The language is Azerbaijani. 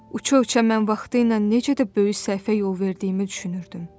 Uça-uça mən vaxtilə necə də böyük səhvə yol verdiyimi düşünürdüm.